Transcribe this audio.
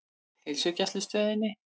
Heilsugæslustöðinni